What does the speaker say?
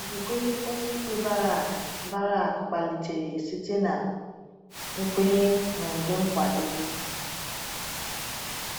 Okwukwe onyeikpe Barak Barak kpalitere site na nkwenye n'ụdị nkwado.